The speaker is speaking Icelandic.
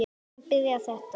Hvenær byrjaði þetta?